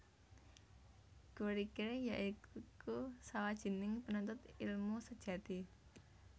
Guericke ya iku sawajining penuntut elmu sejati